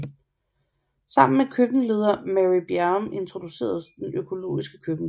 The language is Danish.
Sammen med køkkenleder Mary Bjerrum introduceredes det økologiske køkken